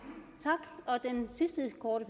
hvor